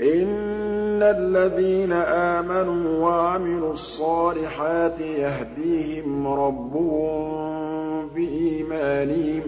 إِنَّ الَّذِينَ آمَنُوا وَعَمِلُوا الصَّالِحَاتِ يَهْدِيهِمْ رَبُّهُم بِإِيمَانِهِمْ ۖ